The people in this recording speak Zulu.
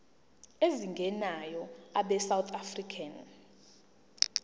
ezingenayo abesouth african